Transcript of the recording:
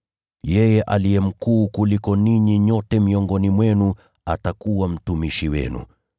Yeye aliye mkuu kuliko ninyi nyote miongoni mwenu atakuwa mtumishi wenu.